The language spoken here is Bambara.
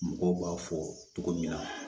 Mɔgɔw b'a fɔ cogo min na